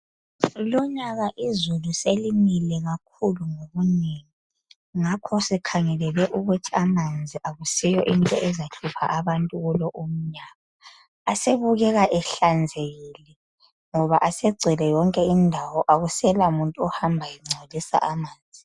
Lonyaka izulu selinile kakhulu kwanele ngakho sikhangelele ukuthi amanzi akusiyo into ezahlupha abantu kulo umnyaka abukeka ehlanzekila ngoba asegcwele yonke indawo akusela muntu ohamba engcolisa amanzi.